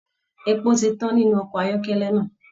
Epo ti tàn nínú ọkọ ayọkẹlẹ náà.